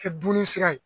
Kɛ dumuni sira ye